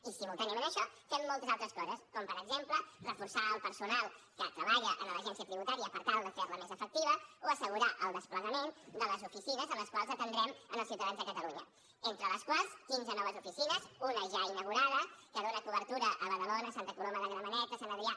i simultàniament a això fem moltes altres coses com per exemple reforçar el personal que treballa en l’agència tributària per tal de fer la més efectiva o assegurar el desplegament de les oficines en les quals atendrem els ciutadans de catalunya entre les quals quinze noves oficines una ja inaugurada que dona cobertura a badalona a santa coloma de gramenet a sant adrià